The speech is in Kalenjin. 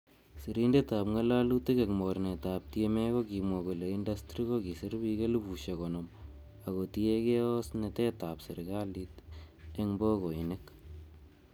Sirindetab ngololutik en mornetab TMA kokimwa kole indastri kokisir bik elifusiek konoom ak kotienge osnetab serkalit en bogoinik.